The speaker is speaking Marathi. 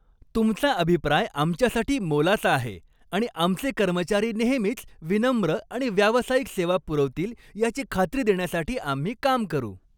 तुमचा अभिप्राय आमच्यासाठी मोलाचा आहे आणि आमचे कर्मचारी नेहमीच विनम्र आणि व्यावसायिक सेवा पुरवतील याची खात्री देण्यासाठी आम्ही काम करू.